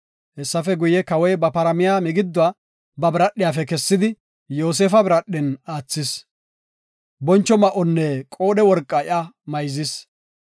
Hessafe guye, Kawoy ba paramiya migiduwa ba biradhiyafe kessidi, Yoosefa biradhen aathis. Boncho ma7onne qoodhe worqa iya mayzis.